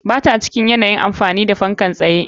Ba ta cikin yanayin amfani da fanka na tsaye.